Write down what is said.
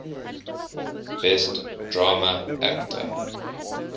best drama actor